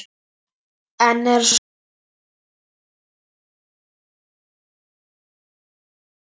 En er von á frekari stýrivaxtahækkunum í næsta mánuði?